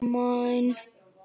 Nei, ekki heldur.